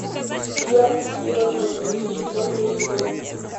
дьявольские возлюбленные четвертый эпизод